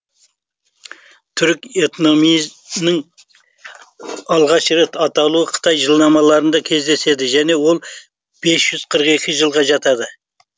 түрік этнонимінің алғаш рет аталуы қытай жылнамаларында кездеседі және ол бес жүз қырық екі жылға жатады